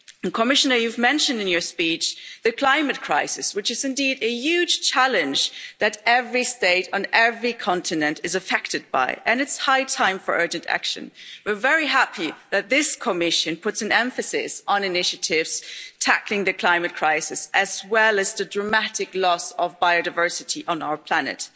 Commissioner, you mentioned in your speech the climate crisis, which is indeed a huge challenge that every state and every continent is affected by, and it's high time for urgent action. We're very happy that this Commission puts an emphasis on initiatives tackling the climate crisis as well as the dramatic loss of biodiversity on our planet.